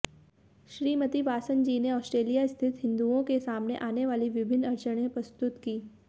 श्रीमती वासनजीने ऑस्ट्रेलिया स्थित हिंदुओंके सामने आनेवाली विभिन्न अडचनें प्रस्तुत कीं